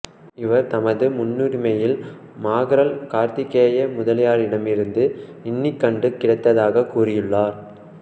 இவர் தமது முன்னுரையில் மாகறல் கார்த்திகேய முதலியாரிடமிருந்து இந்நிகண்டு கிடைத்ததாகக் கூறியுள்ளார்